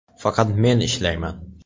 Faqat men ishlayman.